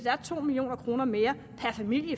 er to million kroner mere per familie